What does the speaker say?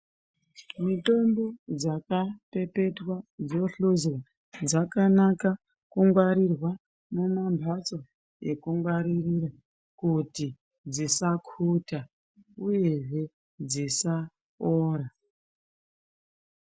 Mitombo dzakapepetwa dzohluzwa, dzakanaka kungwarirwa mumamphatso ekungwaririra ,kuti dzisakhuta ,uyezve dzisaora.